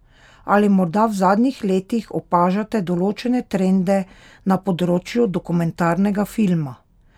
Ali morda v zadnjih letih opažate določene trende na področju dokumentarnega filma?